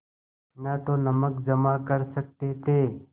न तो नमक जमा कर सकते थे